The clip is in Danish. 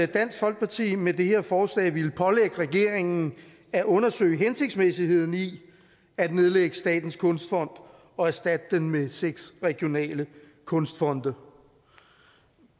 dansk folkeparti med det her forslag ville pålægge regeringen at undersøge hensigtsmæssigheden i at nedlægge statens kunstfond og erstatte den med seks regionale kunstfonde